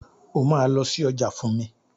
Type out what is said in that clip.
O máa lọ sí ọjà fún mi.